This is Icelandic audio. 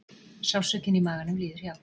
Sársaukinn í maganum líður hjá.